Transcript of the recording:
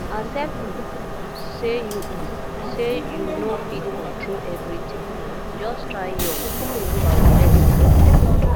accept um say you um say you no fit control everything um just try your um best